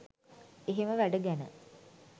එහෙම වැඩ ගැන